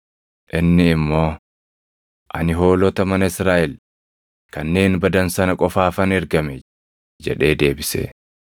Inni immoo, “Ani hoolota mana Israaʼel kanneen badan sana qofaafan ergame” jedhee deebise.